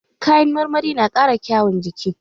Kayan marmari na ƙara kyaun jiki.